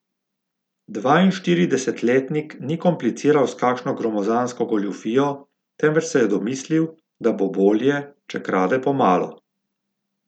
Dvainštiridesetletnik ni kompliciral s kakšno gromozansko goljufijo, temveč se je domislil, da bo bolje, če krade po malo.